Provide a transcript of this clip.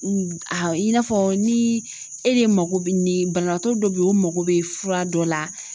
i n'a fɔ ni e de mako bɛ ni banabaatɔ dɔ bɛ ye o mako bɛ fura dɔ la